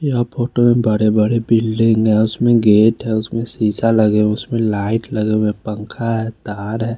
यहाँ फोटो में बड़े बड़े बिल्डिंग उसमे गेट है उसमे शीशा लगा है उसमे लाइट लगे है पंखा है तार है।